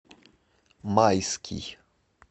майский